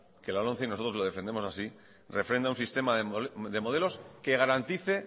que la lomce y nosotros lo defendemos así refrenda un sistema de modelos que garantice